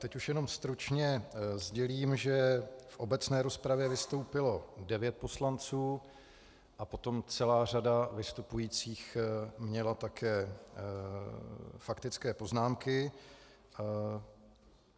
Teď už jenom stručně sdělím, že v obecné rozpravě vystoupilo devět poslanců a potom celá řada vystupujících měla také faktické poznámky.